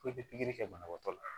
Ko bɛ pikiri kɛ banabaatɔ la